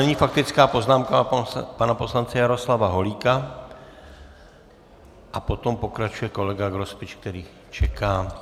Nyní faktická poznámka pana poslance Jaroslava Holíka a potom pokračuje kolega Grospič, který čeká.